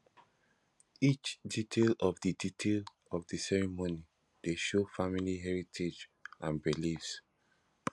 each detail of the detail of the ceremony dey show family heritage and beliefs